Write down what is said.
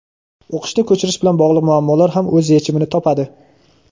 o‘qishni ko‘chirish bilan bog‘liq muammolar ham o‘z yechimini topadi.